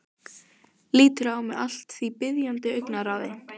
Lítur á mig allt að því biðjandi augnaráði.